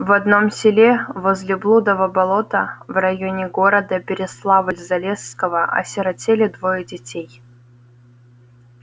в одном селе возле блудова болота в районе города переславль-залесского осиротели двое детей